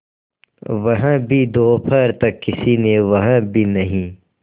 वह भी दोपहर तक किसी ने वह भी नहीं